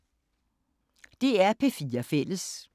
DR P4 Fælles